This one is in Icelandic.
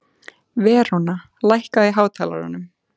Veróna, lækkaðu í hátalaranum.